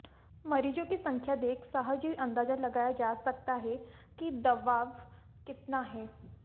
मरीजों की संख्या देख सहज ही अंदाजा लगाया जा सकता है कि दबाव कितना है